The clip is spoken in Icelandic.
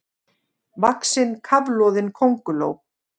vaxin kafloðin könguló.